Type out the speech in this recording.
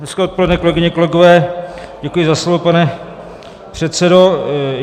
Hezké odpoledne, kolegyně, kolegové, děkuji za slovo, pane předsedo.